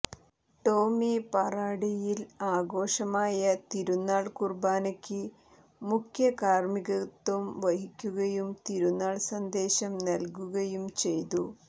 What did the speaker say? ടോമി പാറാടിയിൽ ആഘോഷമായ തിരുന്നാൾ കുർബാനയ്ക്ക് മുഖ്യ കാർമ്മികത്ത്വം വഹിക്കുകയും തിരുന്നാൾ സന്ദേശം നൽകുകയും ചെയ്തു